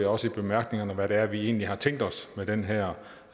også i bemærkningerne beskriver hvad det er vi egentlig har tænkt os med den her